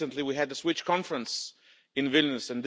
Just recently we had the Switch Conference in Vilnius.